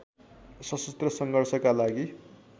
सशस्त्र सङ्घर्षका लागि